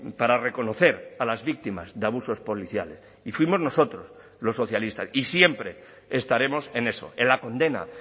para reconocer a las víctimas de abusos policiales y fuimos nosotros los socialistas y siempre estaremos en eso en la condena